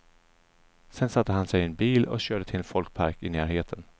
Sedan satte han sig i en bil och körde till en folkpark i närheten.